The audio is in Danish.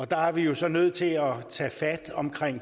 der er vi jo så nødt til at tage fat om